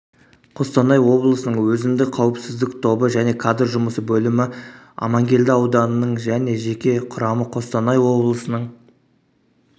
қостанай облысының өзіндік қауіпсіздік тобы және кадр жұмысы бөлімі амангелді ауданының және жеке құрамы қостанай облысының